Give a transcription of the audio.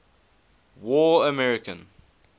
war american